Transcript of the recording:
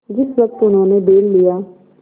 जिस वक्त उन्होंने बैल लिया